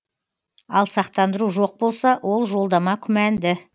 ал сақтандыру жоқ болса ол жолдама күмәнді